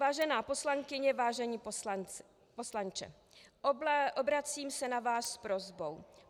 "Vážená poslankyně, vážený poslanče, obracím se na vás s prosbou.